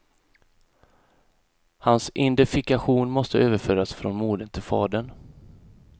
Hans identifikation måste överföras från modern till fadern.